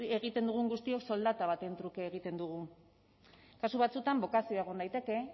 egiten dugun guztiok soldata baten truke egiten dugu kasu batzuetan bokazioa egon daiteke